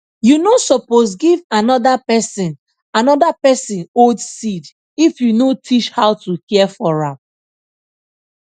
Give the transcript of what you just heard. you no suppose give another person another person old seed if you no teach how to care for am